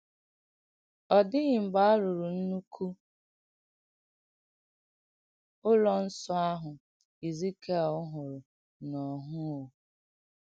Ọ dị̀ghị̀ m̀gbè a rụ̀rụ̀ ǹnụ̀kù ùlọ̀ Nsọ̀ àhụ̀ Èzìkìèl hụ̀rù̀ n’óhụ̀ụ́.